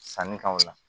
Sanni ka o la